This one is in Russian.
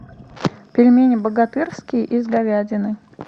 пельмени богатырские из говядины